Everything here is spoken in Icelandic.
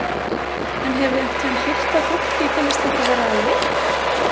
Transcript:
En hefurðu einhvern tímann heyrt að fólki finnst þetta vera leti?